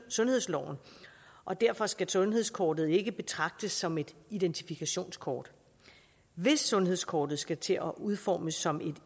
sundhedsloven og derfor skal sundhedskortet ikke betragtes som et identifikationskort hvis sundhedskortet skal til at udformes som et